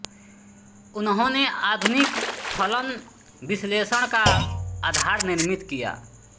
उन्होंने आधुनिक फलन विश्लेषण का आधार निर्मित किया